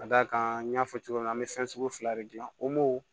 Ka d'a kan an y'a fɔ cogo min na an bɛ fɛn sugu fila de dilan o